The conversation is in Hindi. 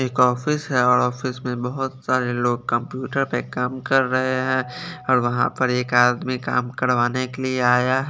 एक ऑफिस है और ऑफिस में बहुत सारे लोग कंप्यूटर पर काम कर रहे हैं और वहां पर एक आदमी काम करवाने के लिए आया है।